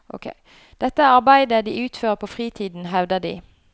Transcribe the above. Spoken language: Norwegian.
Dette er arbeide de utfører på fritiden, hevder de.